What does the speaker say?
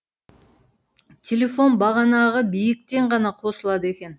телефон бағанағы биіктен ғана қосылады екен